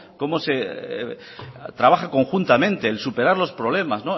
cómo se trabaja conjuntamente el superar los problemas